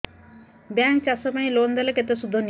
bank ଚାଷ ପାଇଁ loan ଦେଲେ କେତେ ସୁଧ ନିଏ